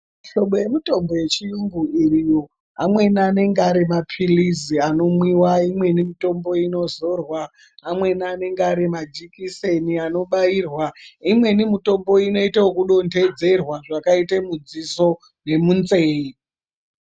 Mihlobo yemitombo yechiyungu iriyo. Amweni anenge ari maphilizi anomwiwa, imweni mitombo inozorwa, amweni anenge ari majikiseni anobairwa, imweni mitombo inoito ekudodhodzerwa zvakaite mudziso nemunzeye.